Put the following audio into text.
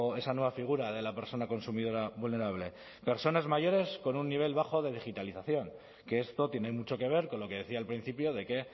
esa nueva figura de la persona consumidora vulnerable personas mayores con un nivel bajo de digitalización que esto tiene mucho que ver con lo que decía al principio de que